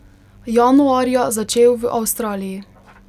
Januarja začel v Avstraliji.